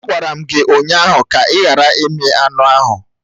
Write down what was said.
Agwara m gị ụnyaahụ ka ị ghara imi anụ ahụ!